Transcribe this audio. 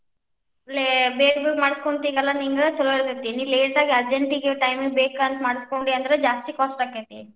ಬೇಗ್ ಬೇಗ್ ಮಾಡಿಸ್ಕೊಂತಿಯಲ್ಲಾ ನಿಂಗ್ ಚುಲೊ ಇರ್ತೇತಿ. ನೀ late ಆಗಿ urgent ಗೇ time ಗೇ ಬೇಕ ಅಂತ ಮಾಡಿಸ್ಕೊಂಡಿ ಅಂದ್ರ್ ಜಾಸ್ತಿ cost ಆಕ್ಕೆತಿ.